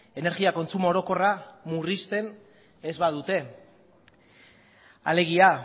energia kontsumo orokorra murrizten ez badute alegia